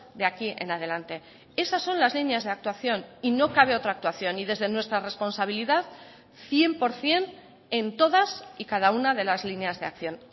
de aquí en adelante esas son las líneas de actuación y no cabe otra actuación y desde nuestra responsabilidad cien por ciento en todas y cada una de las líneas de acción